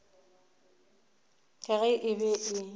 ka ge e be e